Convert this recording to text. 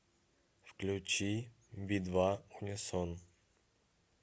включи би два унисон